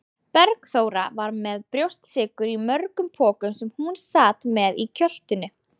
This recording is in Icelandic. Bergþóra var með brjóstsykur í mörgum pokum sem hún sat með í kjöltunni.